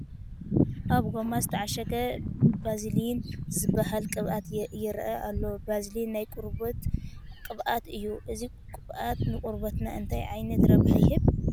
ኣብ ጐማ ስተዓሸገ ባዝሊን ዝበሃል ቅብኣት ይርአ ኣሎ፡፡ ባዝሊን ናይ ቆርበት ቅብኣት እዩ፡፡ እዚ ቅብኣት ንቖርበትና እንታይ ዓይነት ረብሓ ይህብ?